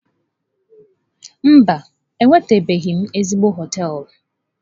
Mba, enwetabeghị m ezigbo hoteelu.